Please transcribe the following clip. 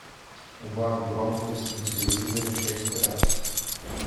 убавь громкость на телевизоре шесть раз